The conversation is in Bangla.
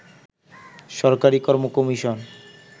সরকারি কর্ম কমিশন